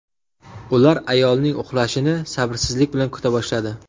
Ular ayolning uxlashini sabrsizlik bilan kuta boshladi.